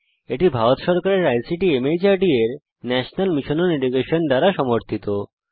এটি ভারত সরকারের আইসিটি মাহর্দ এর ন্যাশনাল মিশন ওন এডুকেশন দ্বারা সমর্থিত